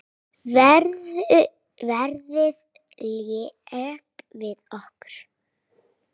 Veðrið lék við okkur.